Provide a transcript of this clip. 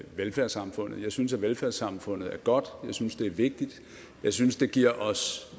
velfærdssamfundet jeg synes at velfærdssamfundet er godt jeg synes det er vigtigt og jeg synes det giver os